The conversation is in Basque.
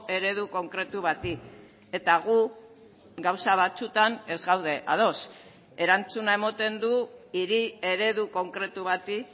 eredu konkretu bati eta gu gauza batzuetan ez gaude ados erantzuna ematen du hiri eredu konkretu bati